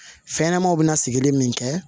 Fɛnɲɛnɛmaw bɛna sigili min kɛ